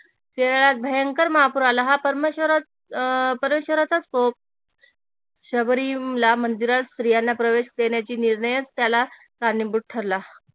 केरळात भयंकर महापूर आला हा अह परमेश्वराचाच कोप शबरीमला मंदिरात स्त्रियांना प्रवेश देण्याची निर्णयच त्याला कारणीभूत ठरला